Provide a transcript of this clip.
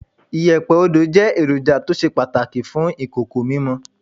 Iyẹ̀pẹ̀ Odo jẹ́ èròjà tó ṣe pàtàkì fún ìkòkò mímọ.